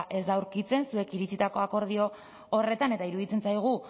ez da aurkitzen zuek iritsitako akordio horretan eta iruditzen zaigu